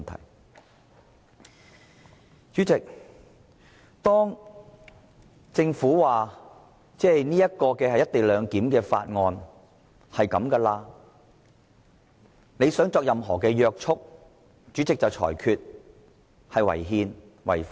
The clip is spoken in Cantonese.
當議員想就政府所提交有關"一地兩檢"的《條例草案》施加任何約束時，主席就會裁決有關建議違憲、違法。